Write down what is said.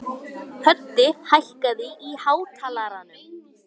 Völt er veraldar blíðan.